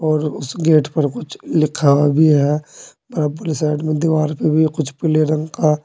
और उस गेट पर कुछ लिखा हुआ भी है बराबर साइड में दीवाल पे भी है कुछ पीले रंग का।